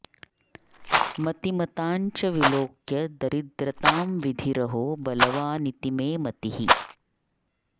मतिमतां च विलोक्य दरिद्रतां विधिरहो बलवानिति मे मतिः